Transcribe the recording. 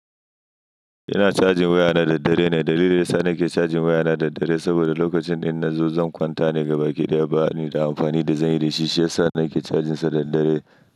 Ina cajin wayana da dare ne. Dalilin da ya sa nake cajin wayana da dare saboda lokacin da nazo zan kwanta ne gabaki ɗaya. Bana da amfani da zanyi da shi shiyasa nake cajinsa da dare.